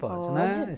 Pode.